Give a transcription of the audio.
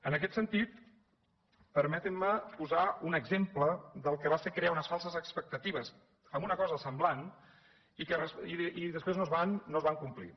en aquest sentit permetin me posar un exemple del que va ser crear unes falses expectatives en una cosa semblant i després no es van complir